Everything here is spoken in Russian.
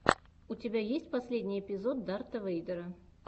у тебя есть последний эпизод дарта вэйдера